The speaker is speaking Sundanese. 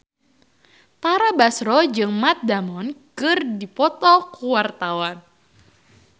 Tara Basro jeung Matt Damon keur dipoto ku wartawan